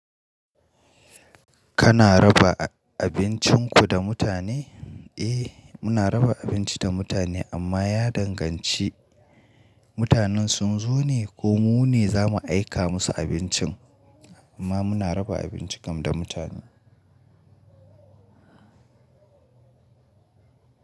Kana raba abincinku da mutane? Eh muna raba abinci da mutane amma ya danganci mutanen sun zo ne ko mu ne za mu aika musu abincin amma muna raba abinci kam da mutane.